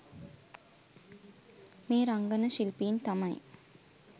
මේ රංගන ශිල්පීන් තමයි.